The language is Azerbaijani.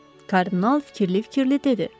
Kardinal fikirli-fikirli dedi.